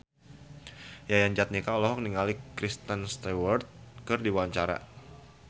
Yayan Jatnika olohok ningali Kristen Stewart keur diwawancara